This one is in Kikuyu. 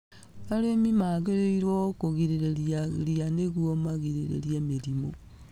Arĩmi magĩrĩirwo kũgirĩrĩria ria nĩguo magirĩrĩrie mĩrĩmu.